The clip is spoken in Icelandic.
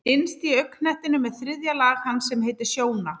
Innst í augnknettinum er þriðja lag hans sem heitir sjóna.